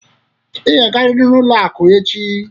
Ị ga-agarịrị n'ụlọ akụ echi!